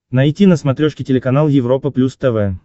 найти на смотрешке телеканал европа плюс тв